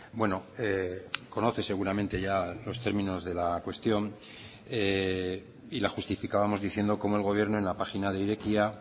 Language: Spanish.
bueno conoce seguramente ya los términos de la cuestión y la justificábamos diciendo como el gobierno en la página de irekia